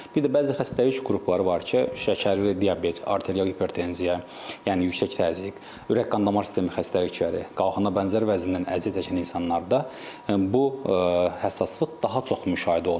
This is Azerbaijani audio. Bir də bəzi xəstəlik qrupları var ki, şəkərli diabet, arterial hipertenziya, yəni yüksək təzyiq, ürək qan damar sistemi xəstəlikləri, qalxana bənzər vəzindən əziyyət çəkən insanlarda bu həssaslıq daha çox müşahidə olunur.